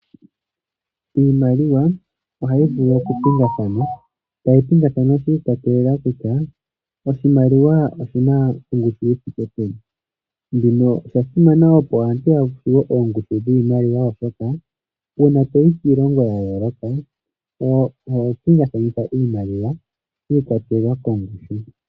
Iimaliwa oyayi vulu oku pingathana. Tayi pingathana shi ikwatelela kutya oshimaliwa oshina ongushu yithike peni. Shino osha simana opo aantu yatseye oongushu dhiimaliwa oshoka una toyi kiilongo yayooloka oho pingakanitha iimaliwa shi ikwatelela kongushu.